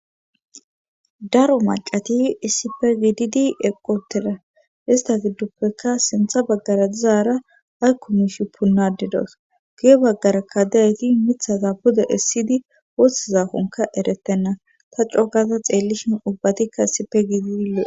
daro macati issipe gididi eqotera ista gidduppekka sintha baggara dizaara aykkumishi punnadidos guye baggara kadayayti mithaza buda issidi woossizakonka eretenna ta coogaza xeellishin ubbatikka issipe giidi lo7e